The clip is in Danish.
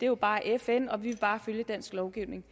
jo bare fn og vi vil bare følge dansk lovgivning